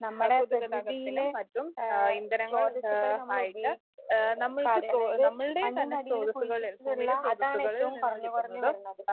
നമ്മടെ പ്രകൃതിയിലെ ഏഹ് സ്രോതസ്സുകള് നമ്മള് ആഹ് കാതെ അതായത് മണ്ണിന്റടിയിൽ കുഴിച്ചിട്ടിട്ടുള്ള അതാണ് ഏറ്റവും കുറഞ്ഞു കുറഞ്ഞു വരുന്നത്.